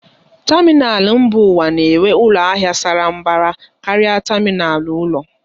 Tamịnal mba ụwa na-enwe ụlọ ahịa sara mbara karịa tamịnal ụlọ.